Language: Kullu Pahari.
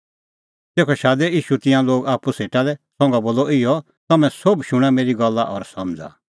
तेखअ शादै ईशू तिंयां लोग आप्पू सेटा लै और बोलअ तम्हैं सोभ शूणां मेरी गल्ला और समझ़ा